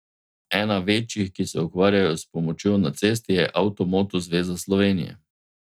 Ena večjih, ki se ukvarjajo s pomočjo na cesti, je Avtomoto zveza Slovenije.